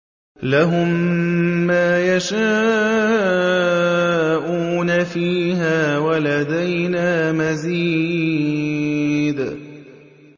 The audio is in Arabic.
لَهُم مَّا يَشَاءُونَ فِيهَا وَلَدَيْنَا مَزِيدٌ